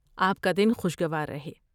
آپ کا دن خوشگوار رہے۔